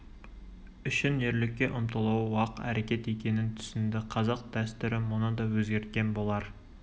үшін ерлікке ұмтылуы уақ әрекет екенін түсінді қазақ дәстүрі мұны да өзгерткен болар